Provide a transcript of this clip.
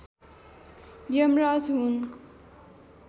यमराज हुन्